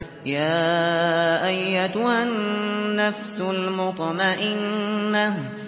يَا أَيَّتُهَا النَّفْسُ الْمُطْمَئِنَّةُ